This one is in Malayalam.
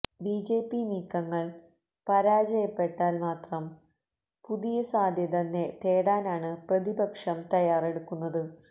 ബിജെപി നീക്കങ്ങള് പരാജയപ്പെട്ടാല് മാത്രം പുതിയ സാധ്യത തേടാനാണ് പ്രതിപക്ഷം തയ്യാറെടുക്കുന്നത്